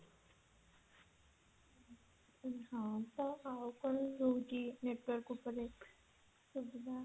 ହଁ ତ ଅ କଓୟାଉ network ଉପରେ ସୁବିଧା